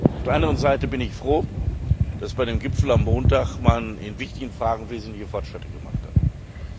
Auf der anderen Seite bin ich froh, dass beim Gipfel am Montag einmal in wichtigen Fragen wesentliche Fortschritte gemacht wurden.